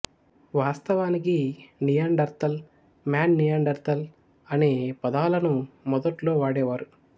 వాస్తవానికి Neanderthal man Neanderthaler అనే పదాలను మొదట్లో వాడేవారు